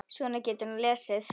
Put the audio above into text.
Svo getur hann lesið.